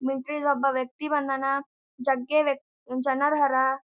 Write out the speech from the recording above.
ಮಿಲಿಟರಿದ ಒಬ್ಬ ವ್ಯಕ್ತಿ ಬಂದಾನ್ ಜಗ್ಗ ವೆಕ್ ಜನರ್ ಹರಾ.